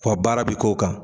Wa baara bi k'o kan